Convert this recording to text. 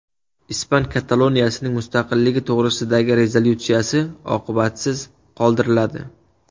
Ispan Kataloniyasining mustaqilligi to‘g‘risidagi rezolyutsiya oqibatsiz qoldiriladi.